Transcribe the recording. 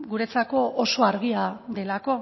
guretzako oso argia delako